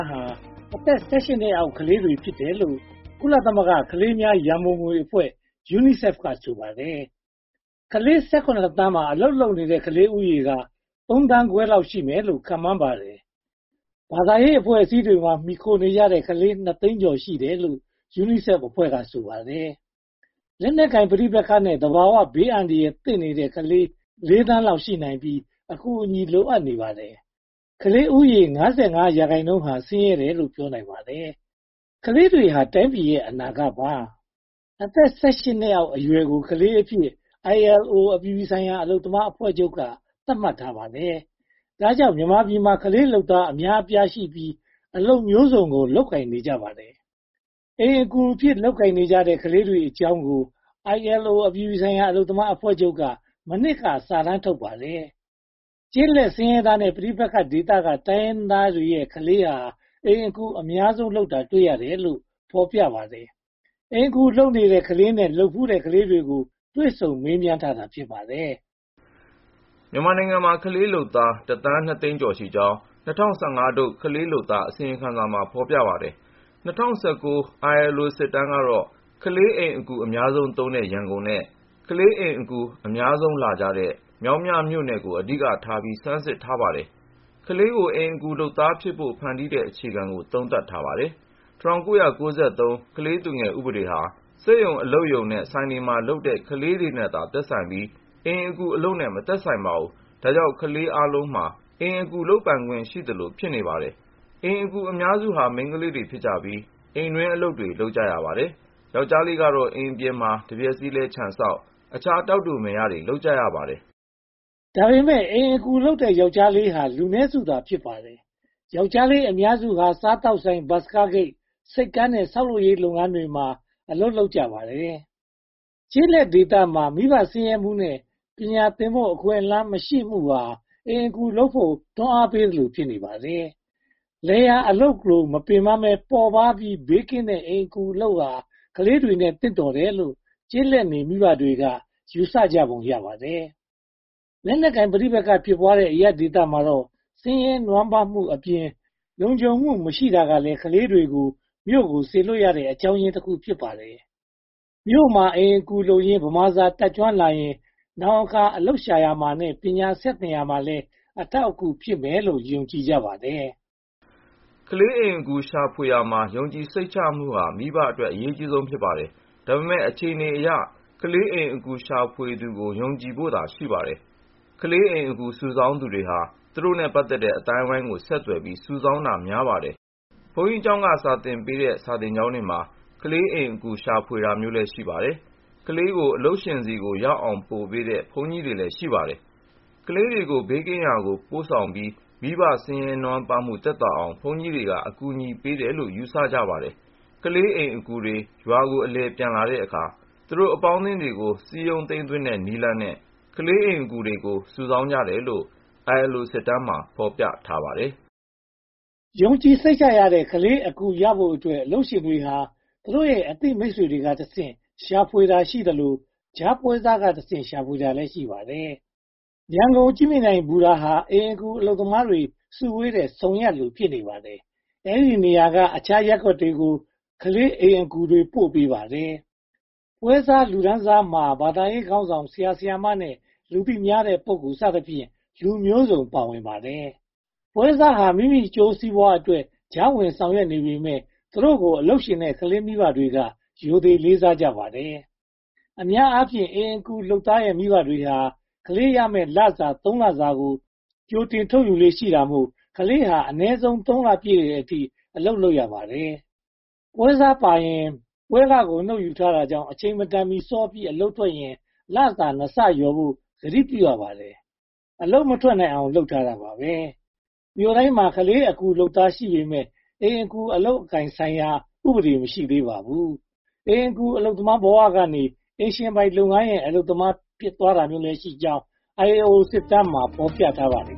းဟာ အသက် (၁၈) နှစ်အောက် ကလေးတွေဖြစ်တယ်လို့ ကုလသမဂ္ဂ ကလေးများရန်ပုံငွေအဖွဲ့ UNICEF က ဆိုပါတယ်။ ကလေး (၁၇) သန်းမှာ အလုပ်လုပ်တဲ့ ကလေးဦးရေက (၃) သန်းခွဲလောက် ရှိမယ်လို့ ခန့်မှန်းပါတယ်။ ဘာသာရေးအဖွဲ့အစည်းတွေမှာ မှီခိုနေကြတဲ့ ကလေး (၂) သိန်းကျော် ရှိတယ်လို့ UNICEF အဖွဲ့က ဆိုပါတယ်။ လက်နက်ကိုင်ပဋိပက္ခနဲ့ သဘာဝဘေးအန္တရာယ်သင့်နေတဲ့ ကလေး (၄) သန်းလောက် ရှိနိုင်ပြီး အကူအညီလိုအပ်နေပါတယ်။ ကလေးဦးရေ (၅၅) ရာခိုင်နှုန်းဟာ ဆင်းရဲတယ်လို့ ပြောနိုင်ပါတယ်။ ကလေးတွေဟာ တိုင်းပြည်ရဲ့ အနာဂတ်ပါ။ အသက် (၁၈) နှစ်အောက်အရွယ်ကို ကလေးအဖြစ် ILO အပြည်ပြည်ဆိုင်ရာ အလုပ်သမားအဖွဲ့ချုပ်က သတ်မှတ်ထားပါတယ်။ ဒါကြောင့် မြန်မာပြည်မှာ ကလေးလုပ်သားအများအပြားရှိပြီး အလုပ်မျိုးစုံကို လုပ်ကိုင်နေကြပါတယ်။ အိမ်အကူအဖြင့် လုပ်ကိုင်နေကြတဲ့ ကလေးတွေအကြောင်းကို ILO အပြည်ပြည်ဆိုင်ရာ အလုပ်သမားအဖွဲ့ချုပ်က မနှစ်က စာတမ်းထုတ်ထားပါတယ်။ ကျေးလက်ဆင်းရဲသားနဲ့ ပဋိပက္ခဒေသက တိုင်းရင်းသားရဲ့ ကလေးတွေဟာ အိမ်အကူအများဆုံး လုပ်တာတွေ့ရတယ်လို့ ဖော်ပြပါတယ်။ အိမ်အကူလုပ်နေတဲ့ကလေးနဲ့ လုပ်ဖူးတဲ့ကလေးတွေကို တွေ့ဆုံမေးမြန်းထားပါတယ်။ မြန်မာနိုင်ငံမှာ ကလေးလုပ်သား (၁) သန်း (၂) သိန်းကျော်ရှိကြောင်း ၂၀၁၅ ထုတ်၊ ကလေးလုပ်သားအစီရင်ခံစာမှာ ဖော်ပြထားပါတယ်။ ၂၀၁၉ ILO စစ်တမ်းကတော့ ကလေးအိမ်အကူ အများဆုံးသုံးတဲ့ ရန်ကုန်နဲ့ ကလေးအိမ်အကူ အများဆုံးဖြစ်လာတဲ့ မြောင်းမြမြို့နယ်ကို အဓိကထားပြီး ဆန်းစစ်ထားပါတယ်။ ကလေးကို အိမ်အကူလုပ်သားဖြစ်ဖို့ ဖန်တီးတဲ့ အခြေခံတွေကို သုံးသပ်ထားပါတယ်။ ၁၉၉၃ ကလေးသူငယ်ဥပဒေဟာ စက်ရုံအလုပ်ရုံနဲ့ဆိုင်တွေမှာ အလုပ်လုပ်ကြတဲ့ ကလေးတွေနဲ့သာ သက်ဆိုင်ပြီး၊ အိမ်အကူအလုပ်နဲ့ မသက်ဆိုင်ပါ။ ဒါကြောင့် ကလေးအားလုံးမှာ အိမ်အကူလုပ်ပိုင်ခွင့်ရှိသလို ဖြစ်နေပါတယ်။ အိမ်အကူအများစုဟာ မိန်ကလေးတွေဖြစ်ကြပြီး အိမ်တွင်းအလုပ်တွေ လုပ်ကြရပါတယ်။ ယောကျ်ားလေးကတော့ အိမ်ပြင်ပမှာ တံမြက်စည်းလဲှ၊ ခြံစောင့်နဲ့ အခြားတောက်တိုမယ်ရတွေ လုပ်ကြရပါတယ်။ ဒါပေမဲ့ အိမ်အကူလုပ်ကြတဲ့ ယောကျ်ားလေးတွေဟာ လူနည်းစုသာ ဖြစ်ပါတယ်။ ယောကျ်ားလေးအများစုဟာ စားသောက်ဆိုင်၊ ဘတ်စ်ကားဂိတ်၊ ဆိပ်ကမ်းနဲ့ ဆောက်လုပ်ရေးလုပ်ငန်းတွေမှာ အလုပ်လုပ်ကြပါတယ်။ ကျေးလက်ဒေသမှာ မိဘဆင်းရဲမှုနဲ့ ပညာသင်ဖို့ အခွင့်အလမ်းမရှိမှုဟာ အိမ်အကူလုပ်ဖို့ တိုက်တွန်းပေးသလို ဖြစ်နေပါတယ်။ လယ်ယာအလုပ်လို မပင်ပန်းဘဲ ပေါ့ပါးပြီးဘေးကင်းတဲ့ အိမ်အကူအလုပ်ဟာ ကလေးတွေနဲ့ သင့်တော်တယ်လို့ ကျေးလက်နေ မိဘတွေက ယူဆကြပုံရပါတယ်။ လက်နက်ကိုင်ပဋိပက္ခတွေ ဖြစ်ပွားတဲ့ အရပ်သားဒေသမှာတော့ ဆင်းရဲနွမ်းပါးမှုအပြင် လုံခြုံမှုမရှိတာဟာလည်း ကလေးတွေကို မြို့ကိုစေလွှတ်တဲ့အကြောင်းရင်းတခု ဖြစ်ပါတယ်။ မြို့မှာ အိမ်အကူလုပ်ရင်း ဗမာစကားကျွမ်းကျင်လာရင် နောင်အခါ အလုပ်ရှာရာမှာနဲ့ ပညာဆက်သင်ရာမှာ အထောက်အကူဖြစ်မယ်လို့ ယုံကြည်ကြပါတယ်။ ကလေးအိမ်အကူရှာဖွေရာမှာ ယုံကြည်စိတ်ချမှုဟာ မိဘတွေအတွက် အရေးကြီးပါတယ်။ ဒါပေမဲ့ အခြေအနေအရ ကလေးအိမ်အကူ ရှာဖွေသူကို ယုံကြည်ဖို့သာ ရှိပါတယ်။ ကလေးအိမ်အကူ စုဆောင်းသူတွေဟာ သူတို့နဲ့ ပတ်သက်တဲ့ အသိုင်းအဝိုင်းကို ဆက်သွယ်ပြီး၊ စုဆောင်းတာများပါတယ်။ ဘုန်းကြီးက စာသင်ပေးတဲ့ စာသင်ကျောင်းတွေမှာ ကလေးအိမ်အကူ ရှာဖွေတာလည်း ရှိပါတယ်။ ကလေးတွေကို ဘေးကင်းရာသို့ ပို့ဆောင်ပြီး မိဘဆင်းရဲနွမ်းပါးမှု သက်သာအောင် ဘုန်းကြီးတွေက အကူအညီပေးတယ်လို့ ယူဆကြပါတယ်။ ကလေးအိမ်အကူတွေ ရွာကိုအလည်ပြန်တဲ့အခါမှာ သူတို့အပေါင်းအသင်းတွေကို စည်းရုံးသိမ်းသွင်းတဲ့နည်းနဲ့လည်း ကလေးအိမ်အကူတွေကို စုဆောင်းတယ်လို့ ILO စစ်တမ်းမှာ ဖော်ပြထားပါတယ်။ ယုံကြည်စိတ်ချရတဲ့ ကလေးအိမ်အကူ ရရှိဖို့အတွက် အလုပ်ရှင်တွေဟာ သူတို့ရဲ့ အသိမိတ်ဆွေတွေကတဆင့် ရှာဖွေကြတာရှိသလို ကြားပွဲစားကတဆင့် ရှာဖွေကြတာလည်း ရှိပါတယ်။ ရန်ကုန် ကြည့်မြင်တိုင်ဘူတာဟာ အိမ်အကူအလုပ်သမားတွေ စုဝေးတဲ့ ဆုံရပ်လို ဖြစ်နေပါတယ်။ အဲဒီနေရာကနေ အခြားရပ်ကွက်တွေကို ကလေးအိမ်အကူ ပို့ပေးပါတယ်။ ပွဲစားလူတန်းစားမှာ ဘာသာရေးခေါင်းဆောင် ဆရာ၊ ဆရာမနဲ့ လူသိများတဲ့ ပုဂ္ဂိုလ်စသဖြင့် လူမျိုးစုံ ပါဝင်ပါတယ်။ ပွဲစားဟာ မိမိအကျိုးစီးပွားအတွက် ကြားဝင်ဆောင်ရွက်နေပေမယ့် သူတို့ကို အလုပ်ရှင်နဲ့ ကလေးမိဘတွေက ရိုသေလေးစားကြပါတယ်။ အများအားဖြင့် ကလေးအိမ်အကူလုပ်သားရဲ့ မိဘတွေဟာ ကလေးရမယ့်လစာ သုံးလစာကို ကြိုတင်ယူထားလေ့ရှိတာမို့ ကလေးဟာ အနည်းဆုံး သုံးလပြည့်တဲ့အထိ အလုပ်လုပ်ရပါတယ်။ ပွဲစားပါရင် ပွဲခကို ကြိုတင်နှုတ်ယူတာကြောင့် အချိန်မတန်မီ စောပြီးအလုပ်ထွက်ရင် လစာ (၂) ဆလျှော်ဖို့ ကတိပြုရပါတယ်။ အလုပ်မထွက်နိုင်အောင် လုပ်ထားတာပါ။ မြို့တိုင်းမှာ ကလေးအိမ်အကူလုပ်သား ရှိပေမယ့် အိမ်အကူအလုပ်အကိုင်ဆိုင်ရာ ဥပဒေ မရှိသေးပါဘူး။ အိမ်အကူအလုပ်သမားဘဝကနေ အိမ်ပိုင်ရှင်လုပ်ငန်းရဲ့ အလုပ်သမား ဖြစ်သွားတာမျိုးလည်းရှိကြောင်း ILO စစ်တမ်းမှာ ဖော်ပြထားပါတယ်